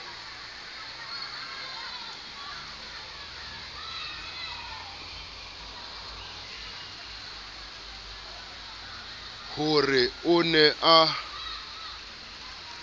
ho re o ne a